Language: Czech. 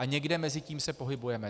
A někde mezi tím se pohybujeme.